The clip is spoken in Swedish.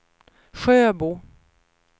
Sjöbo